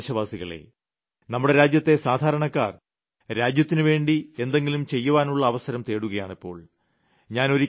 എന്റെ പ്രിയപ്പെട്ട ദേശവാസികളേ നമ്മുടെ രാജ്യത്തെ സാധാരണക്കാർ രാജ്യത്തിന് വേണ്ടി എന്തെങ്കിലും ചെയ്യുവാനുള്ള അവസരം തേടുകയാണിപ്പോൾ